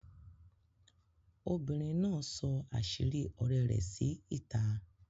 Obìnrin náà sọ̀ àṣírí ọ̀rẹ́ rẹ sí ìta